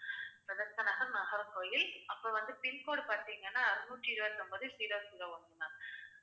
Bethesda Nagar, Nagercoil அப்புறம் வந்து pin code பார்த்தீங்கன்னா நூற்றி இருபத்தி ஒன்பது, zero zero one ma'am